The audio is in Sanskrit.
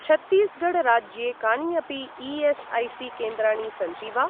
छत्तीसगढ् राज्ये कानि अपि ई.एस्.ऐ.सी.केन्द्राणि सन्ति वा?